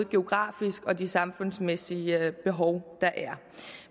geografiske og de samfundsmæssige behov der er